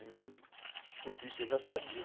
E descobri que eu já sabia.